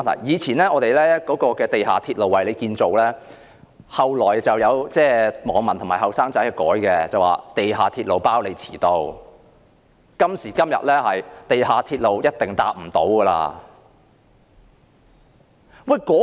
以往的口號是"地下鐵路為你建造"，後來有網民及年青人將之改為"地下鐵路包你遲到"，到今時今日更改為"地下鐵路一定搭唔到"。